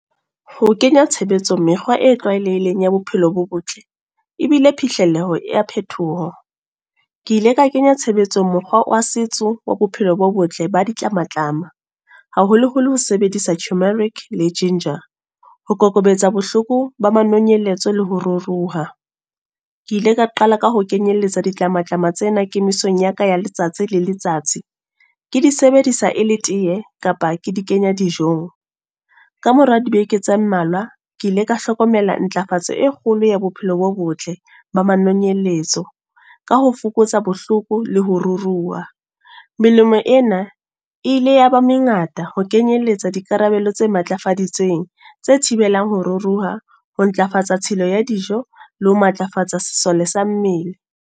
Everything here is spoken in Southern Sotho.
Ho kenya tshebetsong mekgwa e tlwaelehileng ya bophelo bo botle. Ebile phihleleho ya phetoho. Ke ile ka kenya tshebetsong mokgwa wa setso, wa bophelo bo botle ba ditlamatlama. Haholoholo ho sebedisa tumeric le ginger. Ho kokobetsa bohloko ba manonyeletso le ho ruruha. Ke ile ka qala ka ho kenyelletsa ditlamatlama tsena kemisong ya ka ya letsatsi le letsatsi. Ke di sebedisa e le teye, kapa ke di kenya dijong. Ka mora dibeke tse mmalwa, ke ile ka hlokomela ntlafatso e kgolo ya bophelo bo botle, ba manonyeletso. Ka ho fokotsa bohloko le ho ruruha. Melemo ena, e ile ya ba mengata ho kenyeletsa di karabelo tse matlafaditsweng, tse thibelang ho ruruha. Ho ntlafatsa tshilo ya dijo, le ho matlafatsa sesole sa mmele.